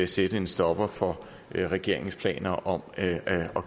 sætte en stopper for regeringens planer om at